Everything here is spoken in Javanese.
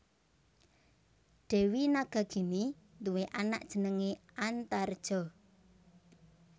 Dèwi Nagagini nduwé anak jenengé Antareja